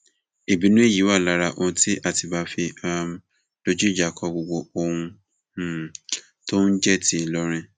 ìbínú èyí wà lára ohun tí àtibá fi um dojú ìjà kọ gbogbo ohun um tó ń jẹ ti ìlọrin